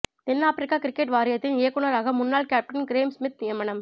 தென் Africa cricket வாரியத்தின் இயக்குனராக முன்னாள் கேப்டன் கிரேம் ஸ்மித் நியமனம்